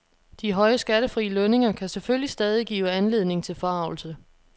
De høje skattefri lønninger kan selvfølgelig stadig give anledning til forargelse.